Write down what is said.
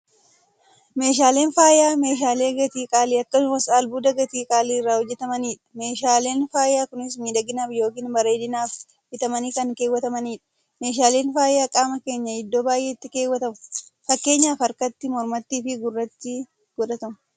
Meeshaaleen faayyaa meeshaalee gatii qaalii akkasumas albuuda gatii qaalii irraa hojjatamanidha. Meeshaaleen faayyaa Kunis, miidhaginaaf yookiin bareedinaaf bitamanii kan keewwatamaniidha. Meeshaaleen faayyaa qaama keenya iddoo baay'eetti keewwatamu. Fakkeenyaf harkatti, mormattiifi gurratti godhatamu.